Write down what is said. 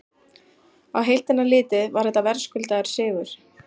Á heildina litið var þetta verðskuldaður sigur.